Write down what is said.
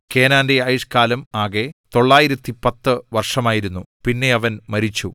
കേനാന്റെ ആയുഷ്കാലം ആകെ 910 വർഷമായിരുന്നു പിന്നെ അവൻ മരിച്ചു